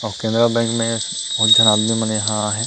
अऊ केनरा_बैंक में बहुत झन आदमी मन यहाँ आए हे।